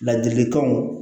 Ladilikanw